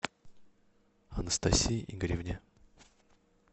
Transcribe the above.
анастасии игоревне